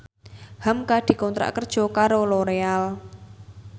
hamka dikontrak kerja karo Loreal